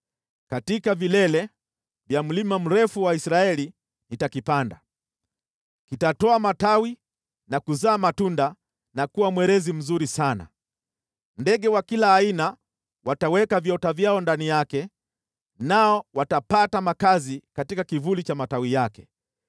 Katika vilele vya mlima mrefu wa Israeli nitakipanda, kitatoa matawi na kuzaa matunda na kuwa mwerezi mzuri sana. Ndege wa kila aina wataweka viota vyao ndani yake, nao watapata makazi katika kivuli cha matawi yake.